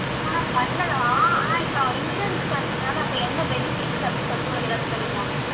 ஆஹ் பண்ணலாம். ஆனா, இப்ப insurance க்கு வந்து அப்ப என்ன benefits அப்படின்னு சொல்லிட்டு, உனக்கு ஏதாச்சும் தெரியுமா?